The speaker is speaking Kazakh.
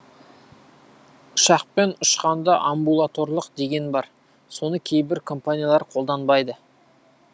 ұшақпен ұшқанда амбулаторлық деген бар соны кейбір компаниялар қолданбайды